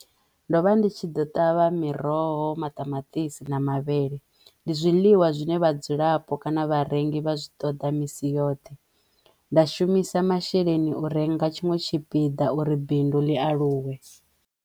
Ndo vha ndi tshi ḓo ṱavha miroho, maṱamaṱisi na mavhele ndi zwiḽiwa zwine vhadzulapo kana vharengi vha zwi ṱoḓa misi yoṱhe. Nda shumisa masheleni u renga tshiṅwe tshipiḓa uri bindu ḽi aluwe.